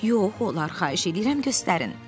Yox, olar, xahiş eləyirəm, göstərin.